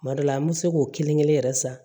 Kuma dɔ la an bɛ se k'o kelen kelen yɛrɛ san